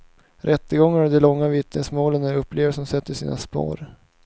Rättegångarna och de långa vittnesmålen är upplevelser som sätter sina spår.